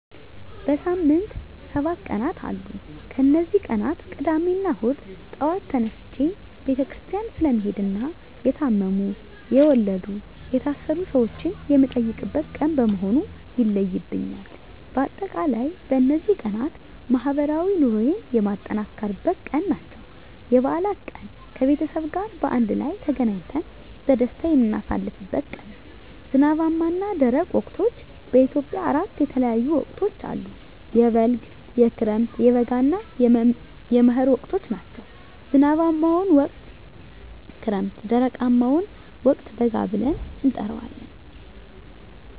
በሳምንት ሰባት ቀናት አሉ ከነዚህ ቀናት ቅዳሜና እሁድ ጧት ተነስቸ ቤተክርስቲያን ስለምሄድና የታመሙ፣ የወለዱ፣ የታሰሩ ሰወችን የምጠይቅበት ቀን በመሆኑ ይለዩብኛል። በአጠቃላይ በነዚህ ቀናት ማህበራዊ ኑሮየን የማጠናክርበት ቀን ናቸው። *የበዓላት ቀን፦ ከቤተሰብ ጋር በአንድ ላይ ተገናኝተን በደስታ የምናሳልፍበት ቀን ነው። *ዝናባማና ደረቅ ወቅቶች፦ በኢትዮጵያ አራት የተለያዩ ወቅቶች አሉ፤ የበልግ፣ የክረምት፣ የበጋ እና የመህር ወቅቶች ናቸው። *ዝናባማውን ወቅት ክረምት *ደረቃማውን ወቅት በጋ ብለን እንጠራዋለን።